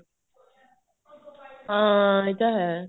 ਹਾਂ ਇਹ ਤਾਂ ਹੈ